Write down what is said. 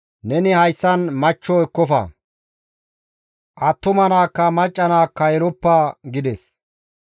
«Neni hayssan machcho ekkofa; attuma naakka, macca naakka yeloppa» gides.